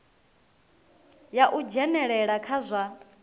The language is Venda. ya u dzhenelela kha zwa